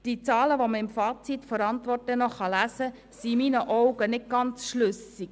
Die Zahlen, die man im Fazit der Antwort lesen kann, sind in meinen Augen nicht ganz schlüssig.